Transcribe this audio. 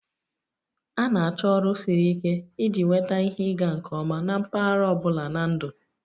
A na-achọ ọrụ siri ike iji nweta ihe ịga nke ọma na mpaghara ọ bụla na ndụ.